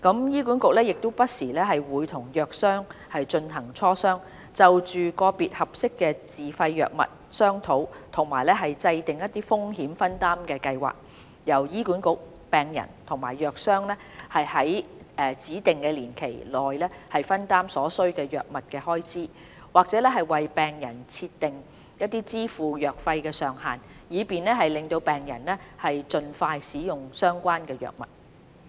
醫管局亦會不時與藥商進行磋商，就個別合適的自費藥物商討及制訂風險分擔計劃，由醫管局、病人與藥商在指定年期內分擔所需的藥物開支，或為病人設定支付藥費的上限，以便讓病人能盡快使用相關藥物。